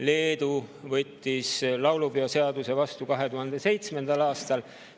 Leedu võttis laulupeoseaduse vastu 2007. aastal.